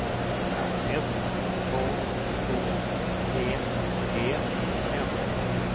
S K O G E N